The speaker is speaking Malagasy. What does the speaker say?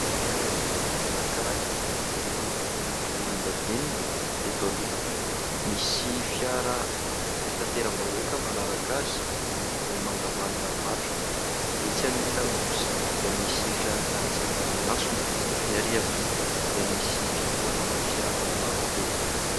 Fiara kely anankiray miloko volondavenona. Eto aloha, misy fiara fitanteram-bahoaka manaraka azy miloko mangamanga matroka; etsy ankilany kosa dia misy fiara karetsaka miantsona ny ary am-pita dia misy fitoanana fiara kodia.